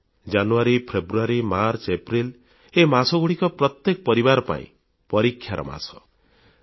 ଜାନୁୟାରୀ February March April ଏହି ମାସଗୁଡ଼ିକ ପ୍ରତ୍ୟେକ ପରିବାର ପାଇଁ ପରୀକ୍ଷାର ମାସ ହୋଇଥାଏ